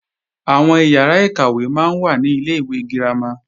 Àwọn ìyàrá-ìkàwé máa ń wà ní Ilé-ìwé girama